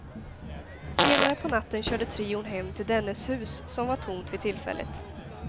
Senare på natten körde trion hem till dennes hus, som var tomt vid tillfället.